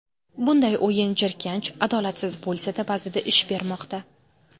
Bunday o‘yin jirkanch, adolatsiz bo‘lsa-da, ba’zida ish bermoqda.